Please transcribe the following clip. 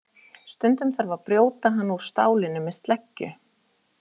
Stundum þarf að brjóta hann úr stálinu með sleggju.